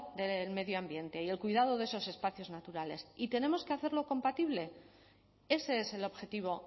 del medio ambiente y el cuidado de esos espacios naturales y tenemos que hacerlo compatible ese es el objetivo